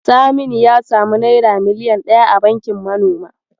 Saminu ya samu naira miliyan ɗaya a bankin manoma.